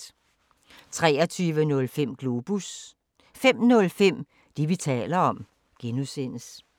23:05: Globus 05:05: Det, vi taler om (G)